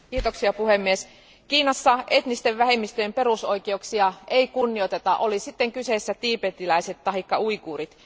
Arvoisa puhemies, Kiinassa etnisten vähemmistöjen perusoikeuksia ei kunnioiteta oli sitten kyseessä tiibetiläiset taikka uiguurit.